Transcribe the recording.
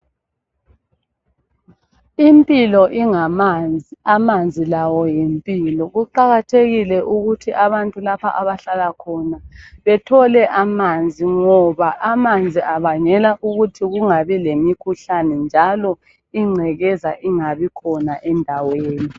Impilo ingamanzi, amanzi lawo yimpilo. Kuqakathekile ukuthi abantu lapha abahlala khona bethole amanzi ngoba amanzi abangela ukuthi kungabi lemikhuhlane njalo ingcekeza ingabi khona endaweni.